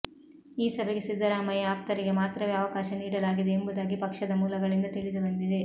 ಈ ಸಭೆಗೆ ಸಿದ್ದರಾಮಯ್ಯ ಆಪ್ತರಿಗೆ ಮಾತ್ರವೇ ಅವಕಾಶ ನೀಡಲಾಗಿದೆ ಎಂಬುದಾಗಿ ಪಕ್ಷದ ಮೂಲಗಳಿಂದ ತಿಳಿದುಬಂದಿದೆ